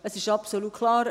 Es ist aber absolut klar: